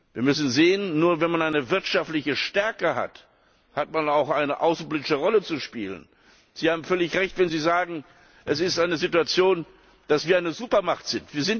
Wir müssen sehen Nur wenn man eine wirtschaftliche Stärke hat, hat man auch eine außenpolitische Rolle zu spielen. Sie haben völlig Recht, wenn Sie sagen Es ist eine Situation, dass wir eine Supermacht sind.